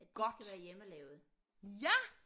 Godt ja